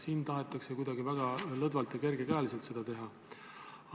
Siin tahetakse kuidagi väga lõdvalt ja kergekäeliselt seda teha.